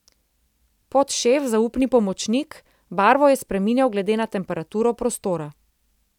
Podšef, zaupni pomočnik, barvo je spreminjal glede na temperaturo prostora.